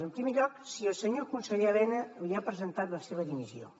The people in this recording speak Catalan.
en primer lloc si el senyor conseller elena havia presentat la seva dimissió